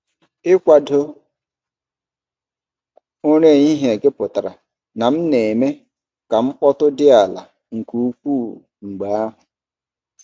Ikwado ụra ehihie gị pụtara na m na-eme ka mkpọtụ dị ala nke ukwuu mgbe ahụ.